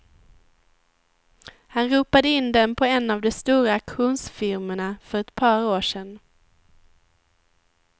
Han ropade in den på en av de stora auktionsfirmorna för ett par år sedan.